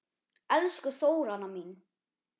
Elsku Þóranna mín.